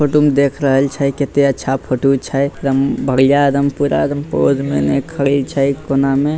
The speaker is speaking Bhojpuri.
फोटो में देख रहल छै कते अच्छा फोटो छै एकदम बढ़िया पूरा एकदम बढ़िया पोज में खड़ी छै कोना में।